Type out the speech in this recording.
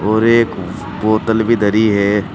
और एक बोतल भी धरी है।